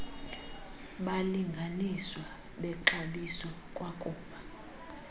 balinganiswa bexabiso kwakuba